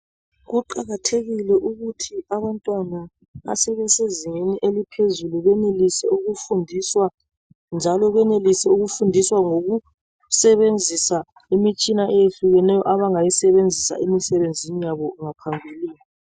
Kuqakathekile ukuthi abantwana asebese zingeni eliphezulu benelise ukufundiswa njalo benelise ukufundiswa ngokusebenzisa imitshina ehlukeneyo abangayisebenzisa emisebenzini yabo ngaphambilini.